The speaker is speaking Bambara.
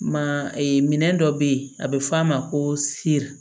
Ma ee minɛn dɔ bɛ ye a bɛ fɔ a ma ko siri